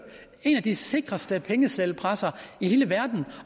en af de sikreste pengeseddelpressere i hele verden